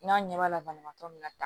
N'a ɲɛ b'a la banabaatɔ min na